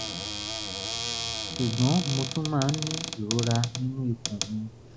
ṣùgbọ́n mo tún máa ń ní ìrora nínú ikùn mi